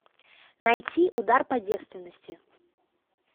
найти удар по девственности